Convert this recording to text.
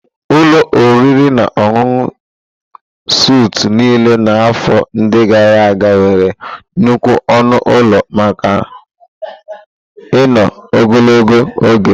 Ụlọ oriri na ọṅụṅụ Suitu niile na afọ ndi gara aga nwere nnukwu ọnụ ụlọ maka ino ogologo oge.